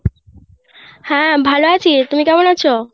হ্যাঁ ভালো আছি তুমি কেমন আছো